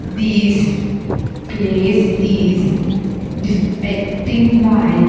This place is defecting by --